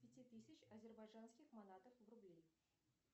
пяти тысяч азербайджанских манатов в рубли